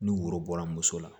Ni woro bɔra muso la